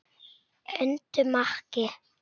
Öndum ekki.